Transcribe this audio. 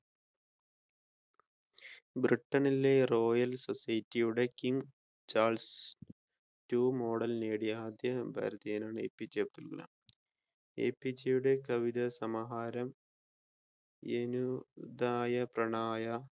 ബ്രിട്ടനിലെ royal society യുടെ king Charles two model നേടിയ ആദ്യ ഭാരതിയനാണ് എപിജെഅബ്ദുൽ കലാം എപിജെയുടെ കവിത സമാഹാരം